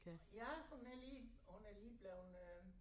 Ja hun er lige hun er lige blevet øh